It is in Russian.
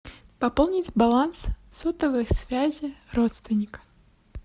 пополнить баланс сотовой связи родственника